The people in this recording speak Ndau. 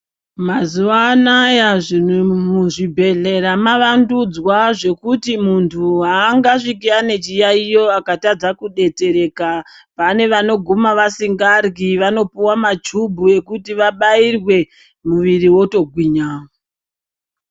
Mazuva anaya muzvibhedhlera mavandudzwa zvekuti muntu haangasviki ane chiyaiyo akatadza kubetsereka. Pane vanoguma vasingaryi vanopuva machubhu ekuti vabairwe muviri votogwinya.